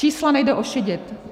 Čísla nejde ošidit.